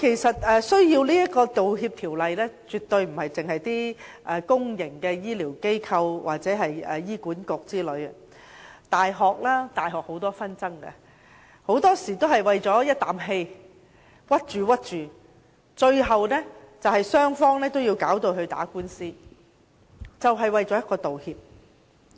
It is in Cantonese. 此外，需要《道歉條例》的，絕對不止是公營的醫療機構或醫院管理局，大學也有很多紛爭，很多時候只是意氣之爭，導致最後雙方打官司，只為一句道歉。